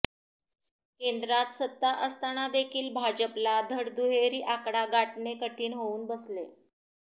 केंद्रात सत्ता असतानादेखील भाजपला धड दुहेरी आकडा गाठणे कठीण होऊन बसले